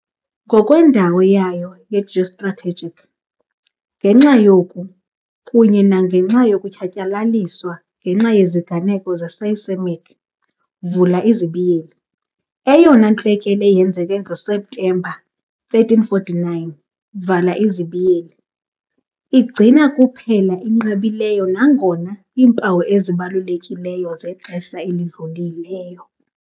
ngokwendawo yayo ye-geostrategic, ngenxa yoku, kunye nangenxa yokutshatyalaliswa ngenxa yeziganeko ze-seismic, vula izibiyeli eyona ntlekele yenzeke ngoSeptemba 1349 vala izibiyeli, igcina kuphela inqabileyo nangona impawu ezibalulekileyo zexesha elidlulileyo.